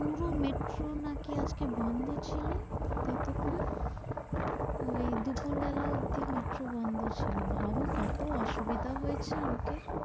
পুরো metro নাকি আজ বন্ধ ছিল ততক্ষন হম ওই দুপুরবেলা অবধি metro বন্ধ ছিল ভাব কত অসুবিধা হয়েছে লোকের?